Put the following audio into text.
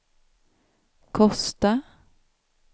Kosta